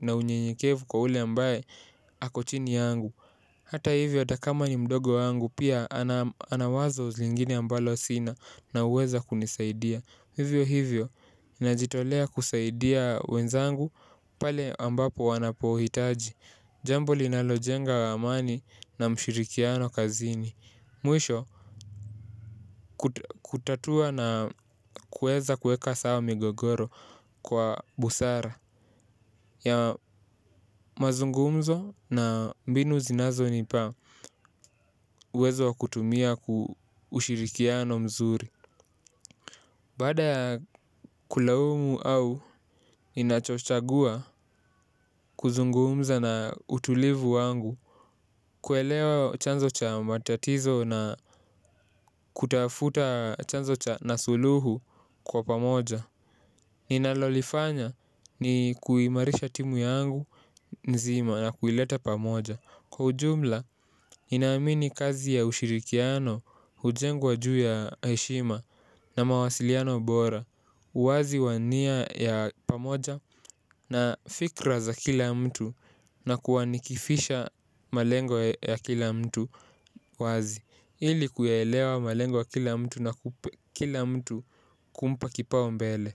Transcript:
na unyenyekevu kwa ule ambaye ako chini yangu. Hata hivyo hata kama ni mdogo wangu pia ana wazo zingine ambalo sina na huweza kunisaidia. Hivyo hivyo najitolea kusaidia wenzangu pale ambapo wanapohitaji. Jambo linalojenga amani na mshirikiano kazini. Mwisho, kutatua na kuweza kuweka sawa migogoro kwa busara. Ya mazungumzo na mbinu zinazonipa uwezo wa kutumia ushirikiano mzuri. Baada kulaumu au, ninachochagua kuzungumza na utulivu wangu. Kuelewa chanzo cha matatizo na kutafuta chanzo cha na suluhu kwa pamoja. Ninalolifanya ni kuimarisha timu yangu nzima na kuileta pamoja. Kwa ujumla, ninaamini kazi ya ushirikiano, hujengwa juu ya heshima na mawasiliano bora. Uwazi wa nia ya pamoja na fikra za kila mtu na kuwa nikifisha malengo ya kila mtu wazi, ili kuyaelewa malengo ya kila mtu na kila mtu kumpa kipaumbele.